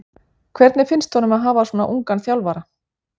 Hvernig finnst honum að hafa svona ungan þjálfara?